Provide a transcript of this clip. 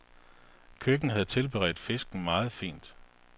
Køkken havde tilberedt fisken meget fint.